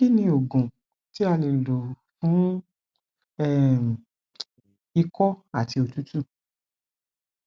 kí ni oògùn tí a lè lò fún um iko àti òtútù